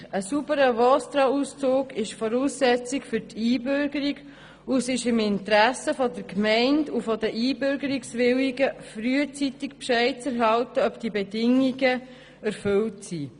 Ein sauberer VOSTRA-Auszug ist Voraussetzung für die Einbürgerung, und es liegt im Interesse der Gemeinde sowie der Einbürgerungswilligen, frühzeitig Bescheid zu erhalten, ob diese Bedingung erfüllt ist.